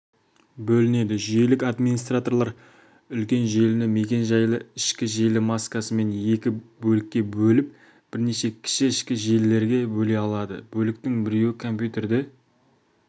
бөлінеді жүйелік администраторлар үлкен желіні мекен-жайлы ішкі желі маскасымен екі бөлікке бөліп бірнеше кіші ішкі желілерге бөле алады бөліктің біреуі компьютерді